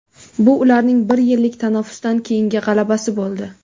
Bu ularning bir yillik tanaffusdan keyingi g‘alabasi bo‘ldi.